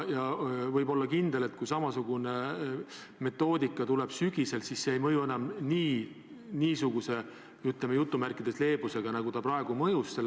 Ja võib olla kindel, et kui samasugune metoodika käivitatakse ka sügisel, siis see ei mõju enam niisuguse leebusega, nagu ta praegu on mõjunud.